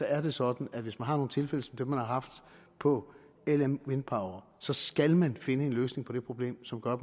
er det sådan at hvis man har nogle tilfælde som dem man har haft på lm wind power så skal man finde en løsning på det problem som gør at